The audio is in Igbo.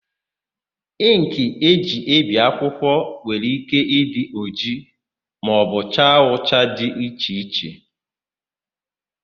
Ịnkị e ji ebi akwụkwọ nwere ike ịdị ojii maọbụ cha ụcha dị iche iche.